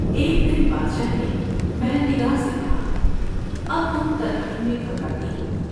ایک دن بادشاہ نے مہر نگار سے کہا اب تم تنہائی میں گھبراتی ہو ۔